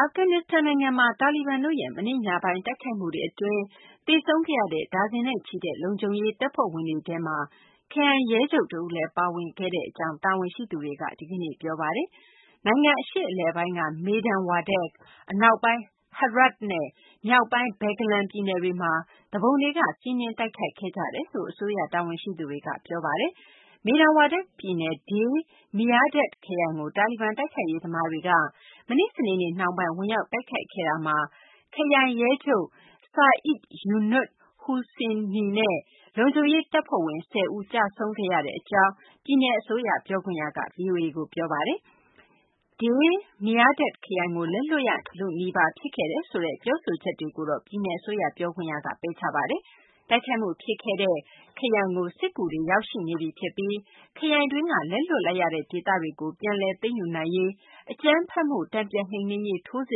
အာဖဂန်နစ္စတန်နိုင်ငံမှာ တာလီဘန်တို့ရဲ့ မနေ့ ညပိုင်းတိုက်ခိုက်မှု အတွင်း သေဆုံးခဲ့ရတဲ့ ဒါဇင်နဲ့ချီတဲ့ လုံခြုံရေး တပ်ဖွဲ့ဝင်တွေထဲမှာ ခရိုင် ရဲချုပ်တဦးလည်း ပါဝင်ခဲ့ကြောင်း တာဝန်ရှိသူတွေက ဒီကနေ့ ပြောပါတယ်။ နိုင်ငံ အရှေ့အလယ်ပိုင်းက Maidan Wardak ၊ အနောက်ပိုင်း Herat နဲ့ မြောက်ပိုင်း Baghlan ပြည်နယ်တွေမှာ သူပုန်တွေက စီးနင်းတိုက်ခိုက်ခဲ့ကြတယ်လို့ အစိုးရ တာဝန်ရှိသူတွေက ပြောပါတယ်။ Maidan Wardak ပြည်နယ် Day Mirdad ခရိုင်ကို တာလီဘန် တိုက်ခိုက်ရေးသမားတွေက မနေ့ စနေနေ့ နှောင်းပိုင်းမှာ ဝင်ရောက်တိုက်ခိုက်ခဲ့တာမှာ ခရိုင်ရဲချုပ် Said Younus Hussaini နဲ့ လုံခြုံရေး တပ်ဖွဲ့ဝင် ၁၀ ဦး ကျဆုံးခဲ့ရကြောင်း ပြည်နယ် အစိုးရ ပြောခွင့်ရက ဗွီအိုအေကို ပြောပါတယ်။ Day Mirdad ခရိုင်ကို လက်လွှတ်ရလုနီးပါး ဖြစ်ခဲ့တယ်ဆိုတဲ့ ပြောဆိုချက်တွေကိုတော့ ပြည်နယ် အစိုးရ ပြောခွင့်ရက ပယ်ချပါတယ်။ တိုက်ခိုက်မှု ဖြစ်ခဲ့တဲ့ Day Mirdad ခရိုင်ကို စစ်ကူတွေ ရောက်ရှိနေပြီ ဖြစ်ပြီး ခရိုင်တွင်းက လက်လွှတ်လိုက်ရတဲ့ ဒေသတွေကို ပြန်လည် သိမ်းယူနိုင်ရေး အကြမ်းဖက်မှု တန်ပြန်နှိမ်နင်းရေး ထိုးစ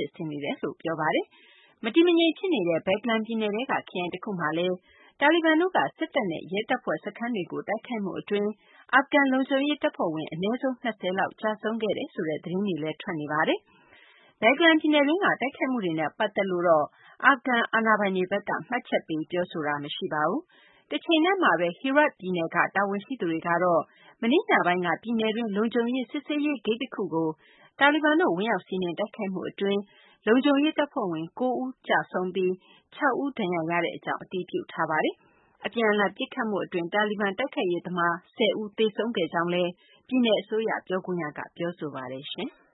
စ်ဆင်နေတယ်လို့ ပြောပါတယ်။ မတည်မငြိမ် ဖြစ်နေတဲ့ Baghlan ပြည်နယ်ထဲက ခရိုင်တခုမှာလည်း တာလီဘန်တို့က စစ်တပ်နဲ့ ရဲတပ်ဖွဲ့ စခန်းတွေကို တိုက်ခိုက်မှု အတွင်း အာဖဂန် လုံခြုံရေး တပ်ဖွဲ့ဝင် အနည်းဆုံး ၂၀ လောက် ကျဆုံးခဲ့တယ်ဆိုတဲ့ သတင်းတွေလည်း ထွက်ပေါ်နေပါတယ်။ Baghlan ပြည်နယ်တွင်းက တိုက်ခိုက်မှုတွေနဲ့ ပတ်သက်လို့တော့ အာဖဂန် အာဏာပိုင်တွေဘက်က မှတ်ချက်ပေး ပြောဆိုတာ မရှိပါဘူး။ တချိန်တည်းမှာဘဲ Herat ပြည်နယ်က တာဝန်ရှိသူတွေကတော့ မနေ့ညပိုင်းက ပြည်နယ်တွင်း လုံခြုံရေး စစ်ဆေးရေးဂိတ်တခုကို တာဘီဘန်တို့ ဝင်ရောက်စီးနင်း တိုက်ခိုက်မှုကြောင့် လုံခြုံရေး တပ်ဖွဲ့ဝင် ၉ ဦး သေဆုံးပြီး ၆ ဦး ဒဏ်ရာရရှိကြောင်း အတည်ပြုထားပါတယ်။ အပြန်အလှန် ပစ်ခတ်မှု အတွင်း တာလီဘန် တိုက်ခိုက်ရေးသမား ၁၀ ဦး သေဆုံးကြောင်းလည်း ပြည်နယ် အစိုးရ ပြောခွင့်ရက ပြောဆိုပါတယ်။